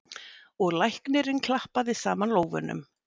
Og læknirinn klappaði saman lófunum.